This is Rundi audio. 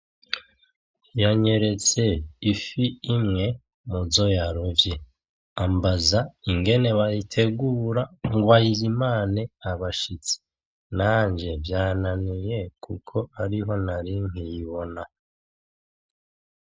Yanyeretse ifi imwe muzo yarovye ambaza ingene bayitegura ngo ayizimane abashitsi. Nanje vyananiye kuko ariho nari nkiyibona .